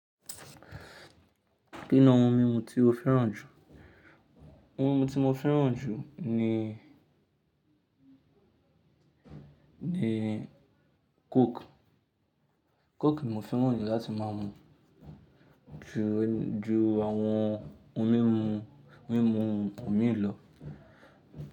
Kí ni ohun míi tí ó fẹ́ràn jù? Ohun mímu tí mo fẹ́ràn jù ni, ni coke. Coke mò fẹ́ràn ni láti má mú ju, ju àwọn ohun mímu, mímu òmíì lọ.